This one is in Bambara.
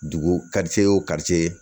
Dugu o